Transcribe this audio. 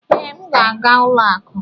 ee, m ga-aga ụlọ akụ.